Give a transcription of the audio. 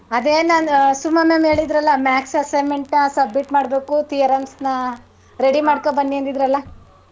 ಅದೇ ನಾನು ಸುಮಾ ma'am ಹೇಳಿದ್ರಲ್ಲ maths assignment ನ submit ಮಾಡ್ಬೇಕು theorems ನ ready ಮಾಡ್ಕೊoಡ್ಬನ್ನಿ ಅಂದಿದ್ರಲಾ.